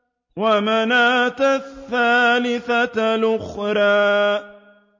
وَمَنَاةَ الثَّالِثَةَ الْأُخْرَىٰ